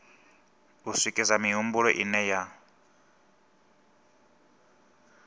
u swikisa mihumbulo ine ya